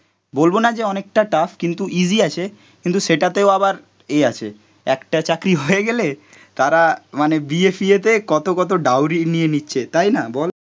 বলব না যে অনেকটা টাফ, কিন্তু ইজি আছে কিন্তু সেটাতেও আবার এ আছে, একটা চাকরি হয়ে গেলে তারা মানে বিয়ে ফিয়েতে কত কত ডাউরি নিয়ে নিচ্ছে তাই না? বল